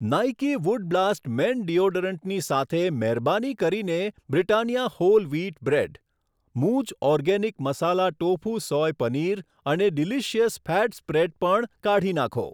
Nike wood blast man ડીઓડરન્ટની સાથે મહેરબાની કરીને બ્રિટાનિયા હોલ વ્હીટ બ્રેડ, મૂઝ organic masala tofu soy paneer અને ડીલીસીયસ ફેટ સ્પ્રેડ પણ કાઢી નાંખો.